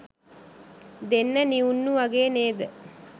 දෙන්න නිවුන්නු වගේ නේද